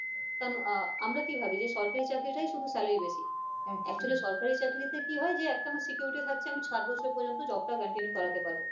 কারণ আহ আমরা কি ভাবি যে সরকারি চাকরিতেই শুধু salary বেশি একদমই actually সরকারি চাকরিতে কি হয় যে একটি আমার security থাকছে আমি ষাট বছর পর্যন্ত job টা continue করাতে পারবো